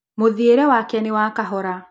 Múthiĩre wake nĩ wa kahora